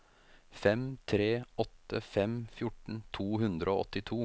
fem tre åtte fem fjorten to hundre og åttito